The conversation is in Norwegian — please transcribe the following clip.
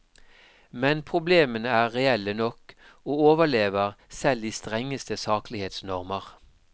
Men problemene er reelle nok og overlever selv de strengeste saklighetsnormer.